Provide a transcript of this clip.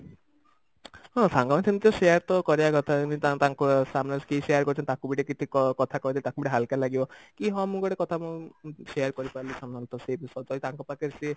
ହଁ ସାଙ୍ଗ ମାନେ ସେମିତି ତ share ତ କରିବା କଥା ସେମିତି ତା ତାଙ୍କ ତାଙ୍କ ସାମ୍ନାରେ କିଏ share କରିଛନ୍ତି ତାକୁ ବି ଟିକେ କ କଥା କହିଦେଲେ ତାକୁ ବି ଟିକେ ହାଲକା ଲାଗିବ କି ହଁ ମୁଁ ଗୋଟେ କଥା share କରିପାରିଲି ସାଙ୍ଗ ମାନଙ୍କ ସହିତ ସେ ତାଙ୍କ ପାଖରେ ସେ